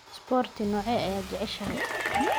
Isboorti noocee ah ayaad jeceshahay?